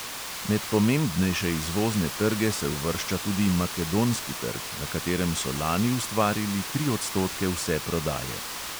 Med pomembnejše izvozne trge se uvršča tudi makedonski trg, na katerem so lani ustvarili tri odstotke vse prodaje.